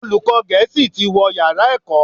Olùkọ́ gẹ̀ẹ́sì tí wó yàrá ẹ̀kọ́